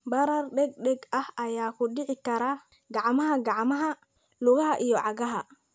Barar degdeg ah ayaa ku dhici kara gacmaha, gacmaha, lugaha, iyo cagaha.